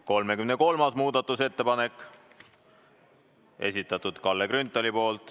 33. muudatusettepaneku on esitanud Kalle Grünthal.